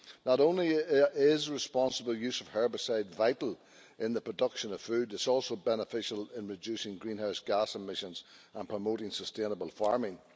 Not only is responsible use of herbicides vital in the production of food, it is also beneficial in reducing greenhouse gas emissions and promoting sustainable farming.